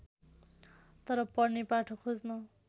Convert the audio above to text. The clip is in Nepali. तर पढ्ने पाठक खोज्न